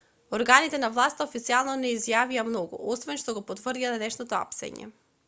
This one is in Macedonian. органите на власта официјално не изјавија многу освен што го потврдија денешното апсење